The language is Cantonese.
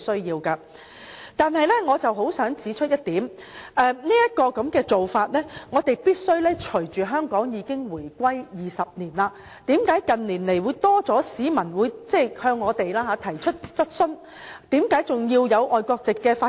然而，我想指出一點，這種做法必須隨着香港已經回歸20年......為何近年有較多市民向我們提出質疑，為何香港仍然有外國籍的法官？